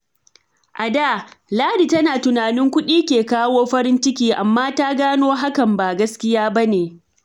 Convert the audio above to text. A da, Ladi tana tunanin kuɗi ne ke kawo farin ciki, amma ta gano hakan ba gaskiya ba ne.